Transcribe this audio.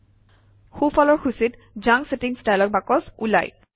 সোঁফালৰ সূচীত junk settings dialog box ওলায়